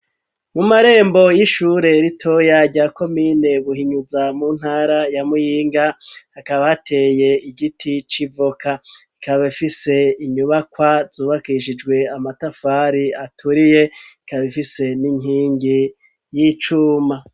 Mu marembo y'ishure rito rya komine Buhinyuza, mu ntara ya Muyinga, hakaba hateye igiti c'ivoka. Ikaba rifise inyubakwa zubakishijwe amatafari aturiye, ikaba ifise n'inkingi y'icuma.